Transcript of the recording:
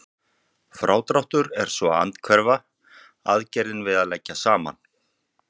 Frádráttur er svo andhverfa aðgerðin við að leggja saman.